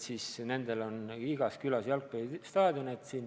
Nendel on igas külas jalgpallistaadion.